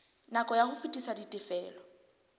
nako ya ho fetisa ditifelo